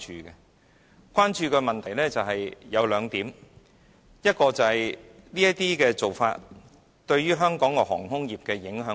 我們關注的問題有兩項，第一，這些做法對香港的航空業會有甚麼影響？